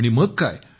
आणि मग काय